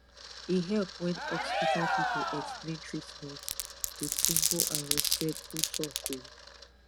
e help when hospital people explain treatment with simple and respectful talk um